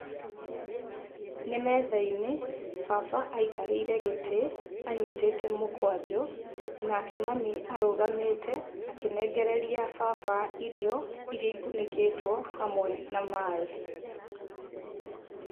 Nĩ metha-inĩ baba aikarĩire gĩtĩ anyitĩte mũkwanjũ, nake mami arũgamĩte akĩnengereria baba irio, irĩa ikunĩkĩtwo hamwe na maaĩ.